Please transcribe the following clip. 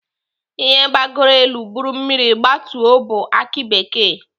Ihe gbagoro elu buru mmiri gbatuo bụ aki bekee.